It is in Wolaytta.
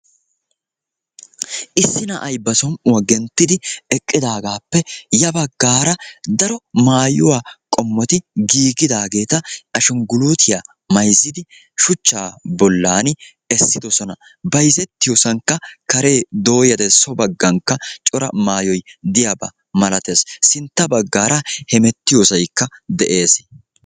issi na'ay ba som''uwaa genttidi eqqidaagaappe ya baggaara daro maayuwaa qommoti giigidaageeta ashungguluutiyaa mayzzidi shuchchaa bollan essidosona bayzettiyoosankka karee dooyade so baggankka cora maayoy diyaabaa malatees sintta baggaara hemettiyoosaykka de'ees